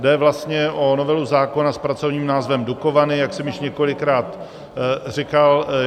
Jde vlastně o novelu zákona s pracovním názvem Dukovany, jak jsem již několikrát říkal.